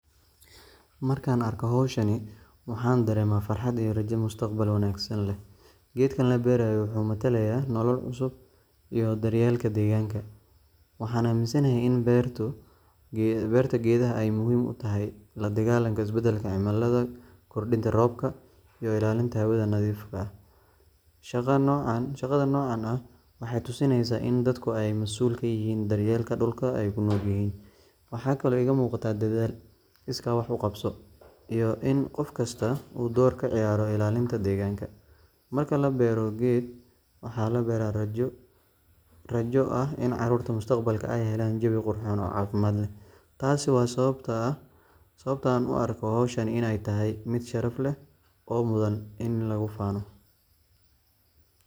Marka aan arko hawshan, waxaan dareemaa farxad iyo rajo mustaqbal wanaagsan leh. Geedkan la beerayo wuxuu matalayaa nolol cusub iyo daryeelka deegaanka. Waxaan aaminsanahay in beerta geeduhu ay muhiim u tahay la dagaallanka isbeddelka cimilada, kordhinta roobka, iyo ilaalinta hawada nadiifta ah. Shaqada noocan ah waxay tusinaysaa in dadku ay mas’uul ka yihiin daryeelka dhulka ay ku nool yihiin. Waxaa kaloo iga muuqata dadaal, iskaa wax u qabso, iyo in qof kasta uu door ka ciyaaro ilaalinta deegaanka. Marka la beero geed, waxaa la beeraa rajo. Rajo ah in carruurta mustaqbalka ay helaan jawi qurxoon oo caafimaad leh. Taasi waa sababta aan u arko in hawshani ay tahay mid sharaf leh oo mudan in lagu faano.